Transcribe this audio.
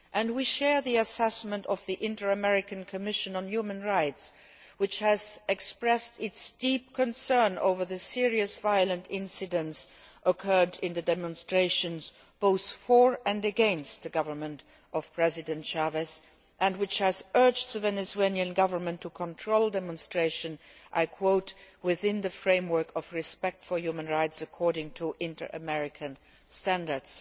We share the assessment of the Inter American Commission on Human Rights, which has expressed its deep concern over the serious violent incidents which occurred in the demonstrations both for and against the government of President Chávez and which has urged the Venezuelan government to control demonstrations I quote within the framework of respect for human rights according to inter American standards'.